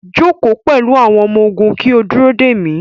Joko pẹlu awọn ọmọ-ogun ki o duro de mi